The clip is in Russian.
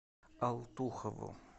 алтухову